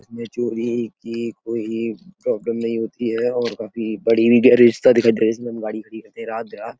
इसमें जो भी प्रोब्लम नहीं होती है और काफी बड़ी गैरेज दिखाई दे रही हैं जिसमे गाड़ी खड़ी रहती है रात बिरात।